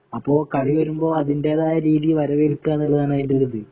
അപ്പോ കളി വരുമ്പോ അതിന്റേതായ രീതിയില് വരവേല്ക്കുക എന്നുള്ളതാണ് അതിന്റെ ഒരു ഇത്